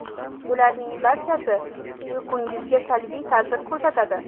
Bularning barchasi uyqungizga salbiy ta’sir ko‘rsatadi.